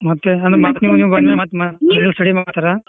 ಮತ್ತ್ ಅಂದ್ರ ಮತ್ ಬಂದ ಮೇಲ್ ಮತ್ ನೀವು study ಮಾಡಸ್ತಿರಾ.